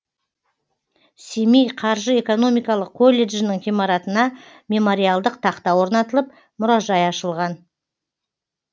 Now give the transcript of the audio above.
семей қаржы экономикалық колледжінің ғимаратына мемориалдық тақта орнатылып мұражай ашылған